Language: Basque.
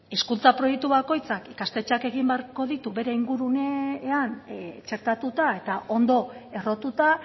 hizkuntza proiektu bakoitzak ikastetxeak egin beharko ditu bere ingurumenean txertatuta eta ondo errotuta